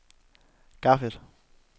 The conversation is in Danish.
Cardiff